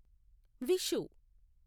Vishu